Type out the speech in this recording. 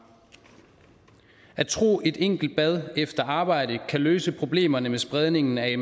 at tro at et enkelt bad efter arbejde kan løse problemerne med spredningen af